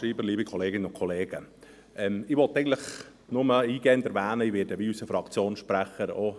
Ich werde diese Motion als Postulat unterstützen, wie es unser Fraktionssprecher tut.